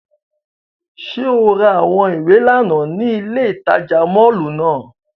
Ṣe o ra awọn iwe làná ni ile itaja mọllu náa?